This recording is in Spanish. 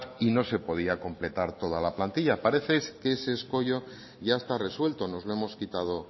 y no se podía completar toda la plantilla parece que ese escollo ya está resuelto nos lo hemos quitado